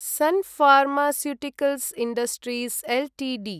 sun pharmaceuticals industries Ltd